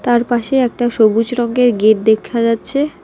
তারপাশে একটা সবুজ রঙ্গের গেট দেখা যাচ্ছে।